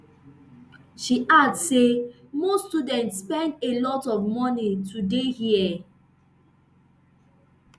she add say most students spend a lot of money to dey here